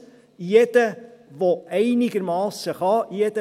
Jeder, der einigermassen kann;